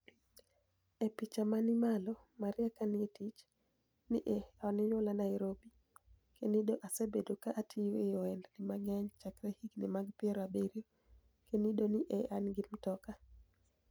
E picha mani malo, Maria ka nii e tich "ni e oniyuola niairobi, kenido asebedo ka atiyo e ohenidnii manig'eniy chakre higinii mag piero abiriyo, kenido ni e ani gi mtoka.